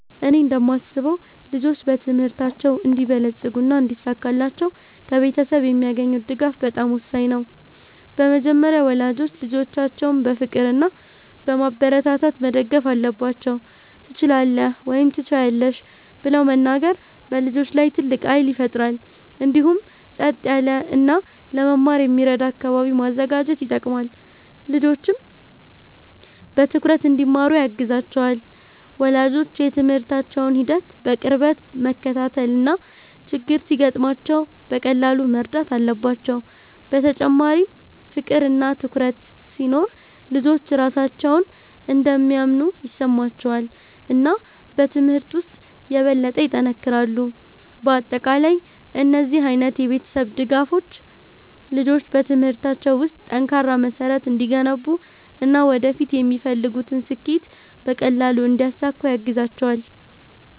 እኔ እንደማስበው ልጆች በትምህርታቸው እንዲበለጽጉና እንዲሳካላቸው ከቤተሰብ የሚያገኙት ድጋፍ በጣም ወሳኝ ነው። በመጀመሪያ ወላጆች ልጆቻቸውን በፍቅር እና በማበረታታት መደገፍ አለባቸው፤ “ትችላለህ” ወይም “ትችያለሽ ” ብለው መናገር በልጆች ላይ ትልቅ ኃይል ይፈጥራል። እንዲሁም ጸጥ ያለ እና ለመማር የሚረዳ አካባቢ ማዘጋጀት ይጠቅማል፣ ልጆችም በትኩረት እንዲማሩ ያግዛቸዋል። ወላጆች የትምህርታቸውን ሂደት በቅርበት መከታተል እና ችግር ሲገጥማቸው በቀላሉ መርዳት አለባቸው። በተጨማሪም ፍቅር እና ትኩረት ሲኖር ልጆች ራሳቸውን እንደሚያምኑ ይሰማቸዋል እና በትምህርት ውስጥ የበለጠ ይጠነክራሉ። በአጠቃላይ እነዚህ ዓይነት የቤተሰብ ድጋፎች ልጆች በትምህርታቸው ውስጥ ጠንካራ መሠረት እንዲገነቡ እና ወደፊት የሚፈልጉትን ስኬት በቀላሉ እንዲያሳኩ ያግዛቸዋል።